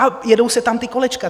A jedou se tam ta kolečka.